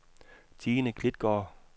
Tine Klitgaard